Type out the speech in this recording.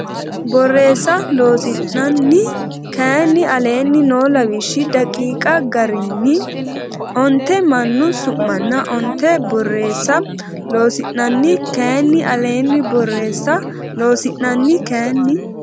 Borreessa Loossinanni kayinni aleenni noo lawishshi daqiiqa garinni onte mannu su manna onte Borreessa Loossinanni kayinni aleenni Borreessa Loossinanni kayinni.